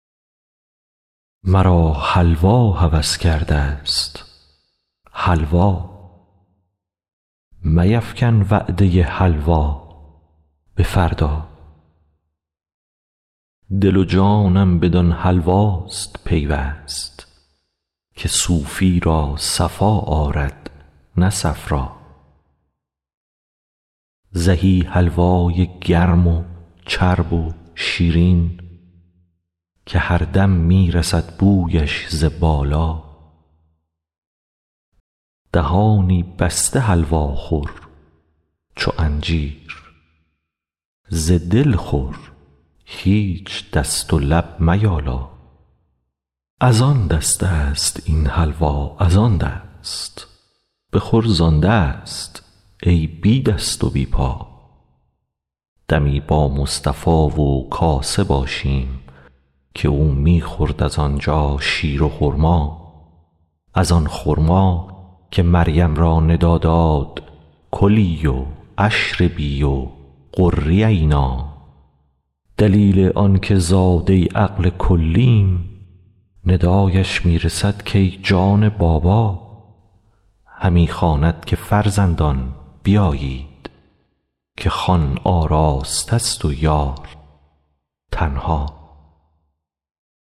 مرا حلوا هوس کردست حلوا میفکن وعده حلوا به فردا دل و جانم بدان حلواست پیوست که صوفی را صفا آرد نه صفرا زهی حلوای گرم و چرب و شیرین که هر دم می رسد بویش ز بالا دهانی بسته حلوا خور چو انجیر ز دل خور هیچ دست و لب میالا از آن دستست این حلوا از آن دست بخور زان دست ای بی دست و بی پا دمی با مصطفا و کاسه باشیم که او می خورد از آن جا شیر و خرما از آن خرما که مریم را ندا کرد کلی و اشربی و قری عینا دلیل آنک زاده عقل کلیم ندایش می رسد کای جان بابا همی خواند که فرزندان بیایید که خوان آراسته ست و یار تنها